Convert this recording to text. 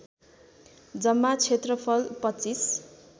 जम्मा क्षेत्रफल २५